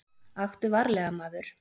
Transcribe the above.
Aktu varlega, maður.